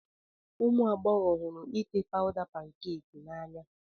Ụmụ agbọghọ hụrụ ite pawda pankeeki n'anya